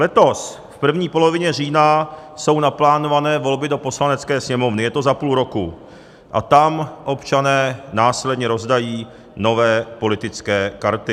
Letos v první polovině října jsou naplánované volby do Poslanecké sněmovny - je to za půl roku - a tam občané následně rozdají nové politické karty.